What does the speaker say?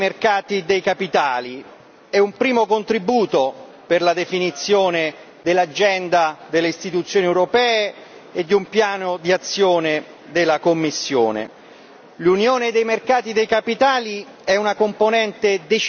e convinto sostegno al progetto di Unione dei mercati dei capitali. È un primo contributo per la definizione dell'agenda delle istituzioni europee e di un piano d'azione della Commissione.